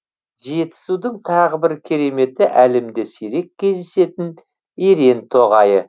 жетісудің тағы бір кереметі әлемде сирек кездесетін ерен тоғайы